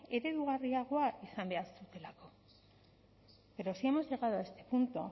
eredugarriagoa izan behar dutelako pero si hemos llegado a este punto